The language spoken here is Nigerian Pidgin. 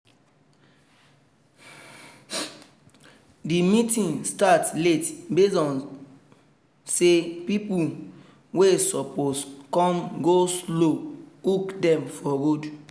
the meeting start late based on say people wey suppose come go-slow hook dem for road